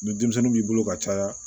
Ni denmisɛnnin b'i bolo ka caya